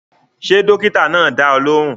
Ṣé dókítà náà dá ọ lóhùn?